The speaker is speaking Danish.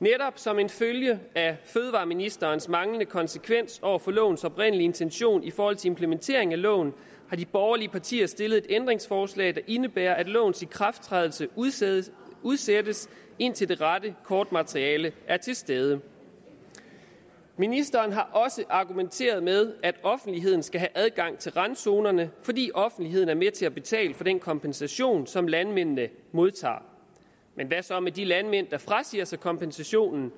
netop som en følge af fødevareministerens manglende konsekvens over for lovens oprindelige intention i forhold til implementering af loven har de borgerlige partier stillet et ændringsforslag der indebærer at lovens ikrafttrædelse udsættes udsættes indtil det rette kortmateriale er til stede ministeren har også argumenteret med at offentligheden skal have adgang til randzonerne fordi offentligheden er med til at betale for den kompensation som landmændene modtager men hvad så med de landmænd der frasiger sig kompensationen